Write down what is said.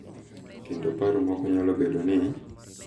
Kendo paro moko nyalo bedo ni,